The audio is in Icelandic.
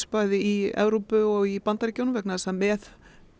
bæði í Evrópu og í Bandaríkjunum vegna þess að með